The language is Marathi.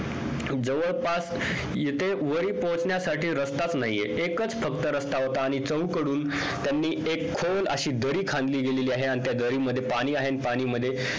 जवळपास येथे वर पोहचण्यासाठी रस्ताच नाहीये एकच फक्त रस्ता होता आणि चहूकडून त्यांनी एक खोल अशी दरी खाणली गेलेली आहे आणि त्या दरीमध्ये पाणी आहे पाणीमध्ये